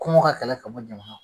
Kungɔ ka kɛlɛ ka bɔ